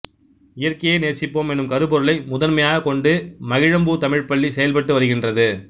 இயற்கையை நேசிப்போம் எனும் கருப்பொருளை முதன்மையாகக் கொண்டு மகிழம்பூ தமிழ்ப்பள்ளி செயல்பட்டு வருகின்றது